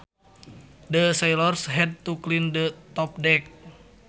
The sailors had to clean the top deck